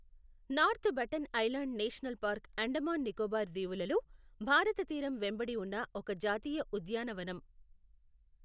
North button island national park Andaman Nicobar దీవులలో, భారత తీరం వెంబడి ఉన్న ఒక జాతీయ ఉద్యానవనం.